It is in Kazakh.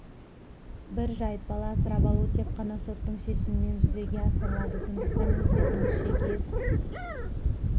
бір жайт бала асырап алу тек қана соттың шешімімен жүзеге асырылады сондықтан өз бетіңізше кез